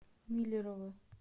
миллерово